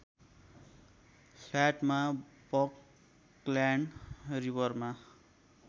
फ्ल्याटमा Buckland रिवरमा